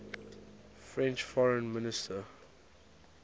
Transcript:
french foreign minister